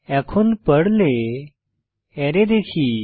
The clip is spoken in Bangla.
এখন পর্লে অ্যারে দেখি